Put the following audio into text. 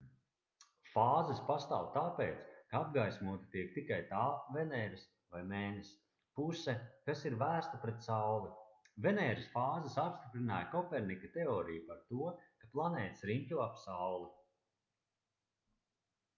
fāzes pastāv tāpēc ka apgaismota tiek tikai tā veneras vai mēness puse kas ir vērsta pret sauli. venēras fāzes apstiprināja kopernika teoriju par to ka planētas riņķo ap sauli